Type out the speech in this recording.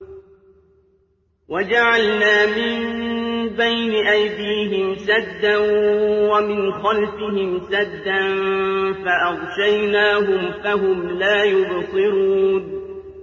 وَجَعَلْنَا مِن بَيْنِ أَيْدِيهِمْ سَدًّا وَمِنْ خَلْفِهِمْ سَدًّا فَأَغْشَيْنَاهُمْ فَهُمْ لَا يُبْصِرُونَ